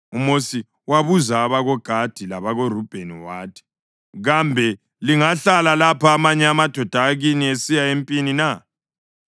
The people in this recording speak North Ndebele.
UMosi wabuza abakoGadi labakoRubheni wathi, “Kambe lingahlala lapha amanye amadoda akini esiya empini na?